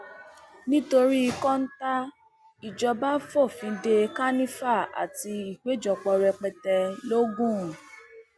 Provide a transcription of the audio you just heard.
nítorí kọńtà ìjọba fòfin de kànìfà àti ìpéjọpọ rẹpẹtẹ l ogun